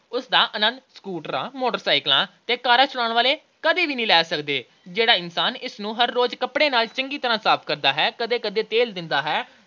ਉਸ ਦਾ ਆਨੰਦ ਸਕੂਟਰਾਂ, ਮੋਟਰਸਾਈਕਲਾਂ ਤੇ ਕਾਰਾਂ ਚਲਾਉਣ ਵਾਲੇ ਕਦੇ ਨਹੀਂ ਲੈ ਸਕਦੇ। ਜਿਹੜਾ ਇਨਸਾਨ ਇਸ ਨੂੰ ਹਰ ਰੋਜ ਕੱਪੜੇ ਨਾਲ ਚੰਗੀ ਤਰ੍ਹਾਂ ਸਾਫ਼ ਕਰਦਾ ਹੈ, ਕਦੇ-ਕਦੇ ਤੇਲ ਦਿੰਦਾ ਹੈ